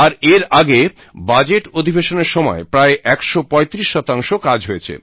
আর এর আগে বাজেট অধিবেশনের সময় প্রায় 135 কাজ হয়েছে